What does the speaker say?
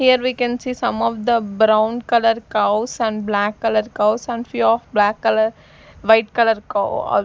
here we can see some of the brown color cows and black color cows and few of black color white color cow--